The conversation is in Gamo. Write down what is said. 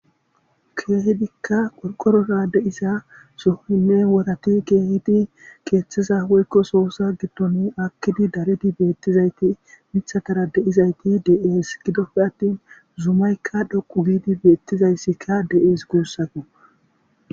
keehidikka qolqorora de7isa sohoyne worati keehidi keeththiza woykko soosa gidton akkidi daridi beettizayti mithatara de7izayti de'es gidopfe attin zuumaykka dhoqu giidi beettizayssikka de'es guussako.